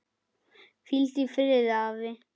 Hvíldu í friði, afi.